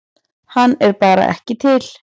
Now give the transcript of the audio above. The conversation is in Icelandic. Hann er bara ekki til.